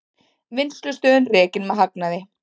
Vinnslustöðin rekin með hagnaði